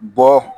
Bɔ